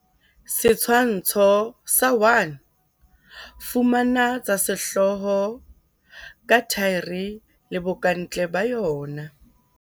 Setshwantsho sa 1. Fumana tsa sehlooho ka thaere le bokantle ba yona.